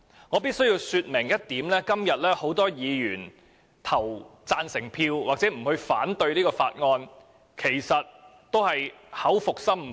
我必須說明一點，今天很多議員贊成或不反對《條例草案》，其實都是口服心不服的。